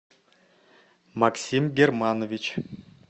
максим германович